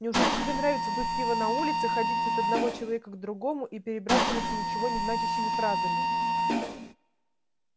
неужели тебе нравится дуть пиво на улице ходить от одного человека к другому и перебрасываться ничего не значащими фразами